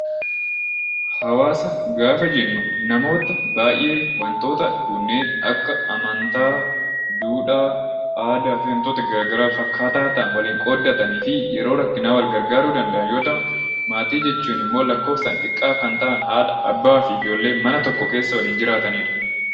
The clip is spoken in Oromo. Hawaasa gaafa jennu namoota baay'ee wantoota kunneen akka amantaa, duudhaa, aadaa fi wantoota gara garaa wal fakkaataa ta'an waliin qooddatanii fi yeroo rakkinaa wal gargaaruu danda'an yoo ta'u; Maatiin jechuun immoo lakkoofsaan xiqqaa kan ta'an Haadha, Abbaa, Ijoollee mana tokko keessa waliin jiraatan dha.